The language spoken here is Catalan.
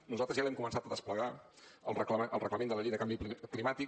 nosaltres ja l’hem començat a desplegar el reglament de la llei del canvi climàtic